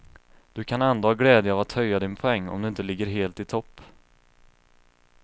Du kan ändå ha glädje av att höja din poäng om du inte ligger helt i topp.